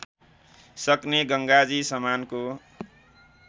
सक्ने गङ्गाजी समानको